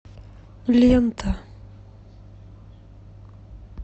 лента